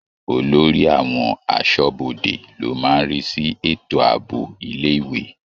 Olórí àwọn aṣọ́bodè ló máa ń rí sí ètò àbọ̀ ilé-ìwé.